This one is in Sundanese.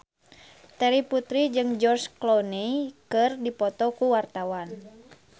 Terry Putri jeung George Clooney keur dipoto ku wartawan